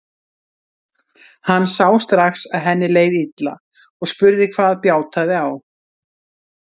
Hann sá strax að henni leið illa og spurði hvað bjátaði á.